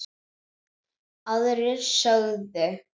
Aðrir sögðu